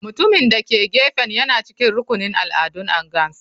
Mutumin da ke gefen yana cikin rukunin al'adun angas.